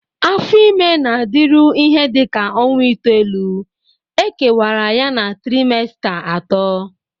Afo ime na-adịru ihe dị ka ọnwa itoolu,e kewara ya na trimesita atọ.